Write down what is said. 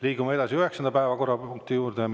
Liigume edasi üheksanda päevakorrapunkti juurde.